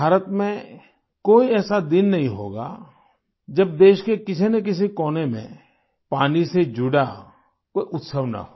भारत में कोई ऐसा दिन नहीं होगा जब देश के किसीनकिसी कोने में पानी से जुड़ा कोई उत्सव न हो